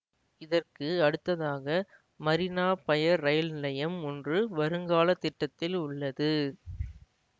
இதற்க்கு அடுத்ததாக மரீனா பயர் ரயில் நிலையம் ஒன்று வருங்கால திட்டத்தில் உள்ளது